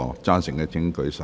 贊成的請舉手。